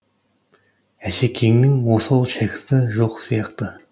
әшекеңнің осал шәкірті жоқ сияқты